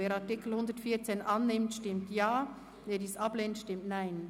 Wer den Artikel 114 annimmt, stimmt Ja, wer diesen ablehnt, stimmt Nein.